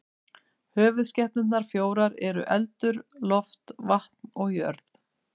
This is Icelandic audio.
Höfuðskepnurnar fjórar eru eldur, loft, vatn og jörð.